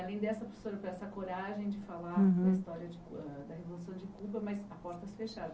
Além dessa professora com essa coragem de falar Uhum da história de cub ah da Revolução de Cuba, mas à portas fechadas.